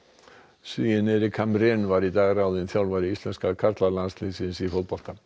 Svíinn Erik Hamrén var í dag ráðinn þjálfari íslenska karlalandsliðsins í fótbolta